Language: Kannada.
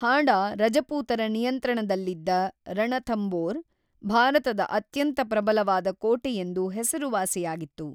ಹಾಡಾ ರಜಪೂತರ ನಿಯಂತ್ರಣದಲ್ಲಿದ್ದ ರಣಥಂಬೋರ್, ಭಾರತದ ಅತ್ಯಂತ ಪ್ರಬಲವಾದ ಕೋಟೆಯೆಂದು ಹೆಸರುವಾಸಿಯಾಗಿತ್ತು.